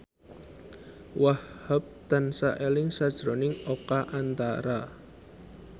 Wahhab tansah eling sakjroning Oka Antara